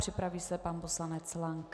Připraví se pan poslanec Lank.